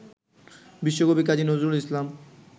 বিশ্বকবি কাজী নজরুল ইসলাম